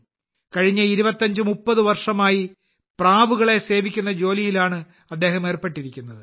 കഴിഞ്ഞ 2530 വർഷമായി പ്രാവുകളെ സേവിക്കുന്ന ജോലിയിലാണ് അദ്ദേഹം ഏർപ്പെട്ടിരിക്കുന്നത്